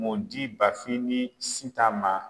Modi Bafin ni Sitan ma